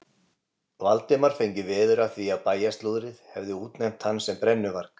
Valdimar fengi veður af því að bæjarslúðrið hefði útnefnt hann sem brennuvarg.